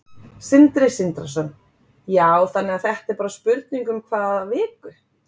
Sindri Sindrason: Já, þannig að þetta er bara spurning um hvað viku?